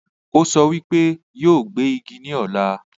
Ó sọ wípé yóò gbé Igi ní ọ̀la